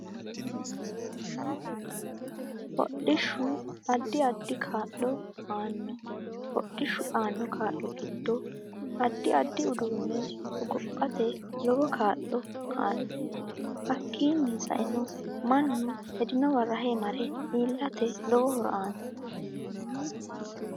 Hodhishu addi addi kaa'lo aanno hodhishu aanno kaa'lo giddo addi addi uduunne hogophate lowo kaa'lo aanno hakiini sa'enno mannu hendowa rahe mare iilate lowo horo aanno